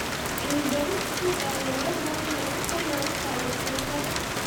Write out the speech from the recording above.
Cilmi-baarista suuqa ayaa loo baahan yahay si kor loogu qaado wax soo saarka.